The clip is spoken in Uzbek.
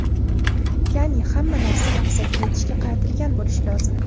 Ya’ni, hamma narsa maqsadga yetishga qaratilgan bo‘lishi lozim.